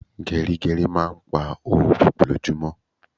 Gerigeri máa ń pá owó púpò lojumo